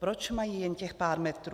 Proč mají jen těch pár metrů?